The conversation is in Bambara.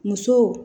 Muso